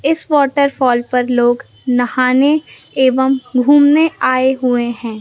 इस वॉटरफॉल पर लोग नहाने एवं घूमने आए हुए हैं।